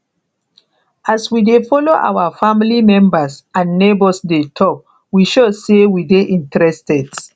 as we de follow our family members and neigbours de talk we show say we de interested